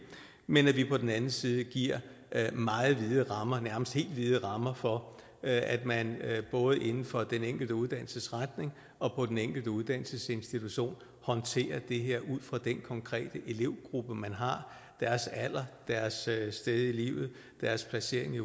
men at det på den anden side giver meget vide rammer nærmest helt vide rammer for at man både inden for den enkelte uddannelsesretning og på den enkelte uddannelsesinstitution håndterer det her ud fra den konkrete elevgruppe man har deres alder deres sted i livet deres placering i